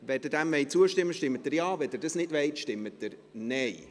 Wenn Sie keine Unterbrechung der Debatte wollen, stimmen Sie Nein.